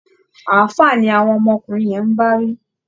Ààfáà ni àwọn ọmọkùnrin yẹn ń bá wí